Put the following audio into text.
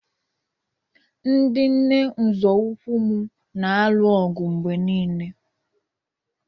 Ndị nne nzọụkwụ m na-alụ ọgụ mgbe niile